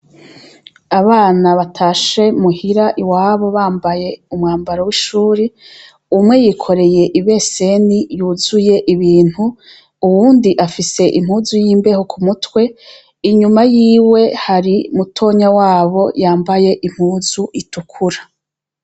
Abana batashe muhira iwabo bambaye umwambaro wishure umwe yikoreye ibeseni yuzuye ibintu uwundi afise impuzu yimbeho kumutwe inyuma yiwe hari mutonya wabo yambaye impuni itukura